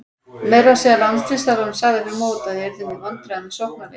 Meira að segja landsliðsþjálfarinn sagði fyrir mót að við yrðum í vandræðum með sóknarleikinn.